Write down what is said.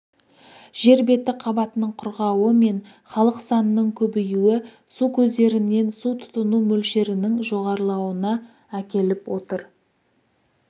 жер беті қабатының құрғауы мен халық санының көбеюі су көздерінен су тұтыну мөлшерінің жоғарылауына әкеліп отыр